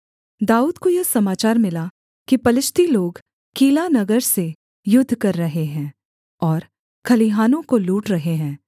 दाऊद को यह समाचार मिला कि पलिश्ती लोग कीला नगर से युद्ध कर रहे हैं और खलिहानों को लूट रहे हैं